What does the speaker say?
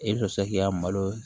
I bɛ to se k'i ka malo